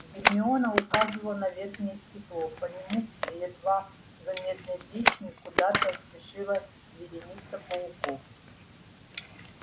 гермиона указывала на верхнее стекло по нему к едва заметной трещине куда-то спешила вереница пауков